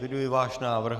Eviduji váš návrh.